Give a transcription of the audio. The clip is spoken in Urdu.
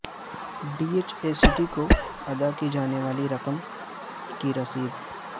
ڈی ایچ اے سٹی کو ادا کی جانے والی رقم کی رسید